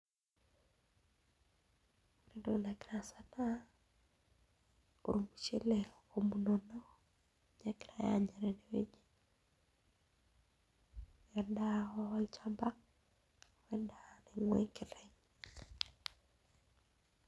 Ore entoki nagira aasa naa ormushele omunono ninye egirai aanya tenewueji endaa olchamba oo endaa enkiteng'.